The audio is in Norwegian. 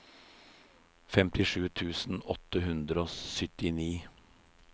femtisju tusen åtte hundre og syttini